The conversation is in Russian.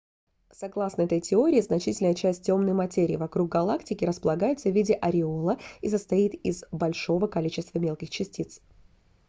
согласно этой теории значительная часть темной материи вокруг галактики располагается в виде ореола и состоит из большого количества мелких частиц